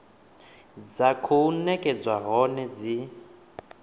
dza khou nekedzwa hone dzi